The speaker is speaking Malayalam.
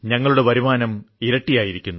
ഞങ്ങളുടെ വരുമാനം ഇരട്ടിയായിരിക്കുന്നു